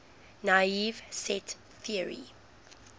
naive set theory